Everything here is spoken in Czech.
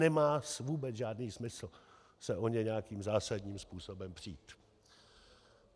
Nemá vůbec žádný smysl se o ně nějakým zásadním způsobem přít.